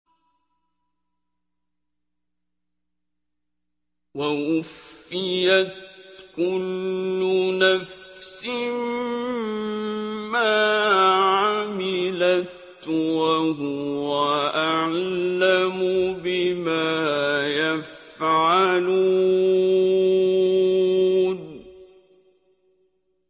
وَوُفِّيَتْ كُلُّ نَفْسٍ مَّا عَمِلَتْ وَهُوَ أَعْلَمُ بِمَا يَفْعَلُونَ